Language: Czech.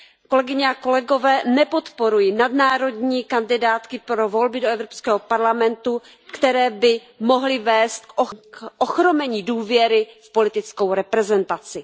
Kolegyně a kolegové, nepodporuji nadnárodní kandidátky pro volby do Evropského parlamentu, které by mohly vést k ochromení důvěry v politickou reprezentaci.